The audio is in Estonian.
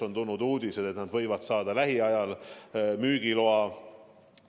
On tulnud uudiseid, et need võivad saada lähiajal müügiloa.